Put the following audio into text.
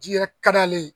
Ji yɛrɛ ka d'ale ye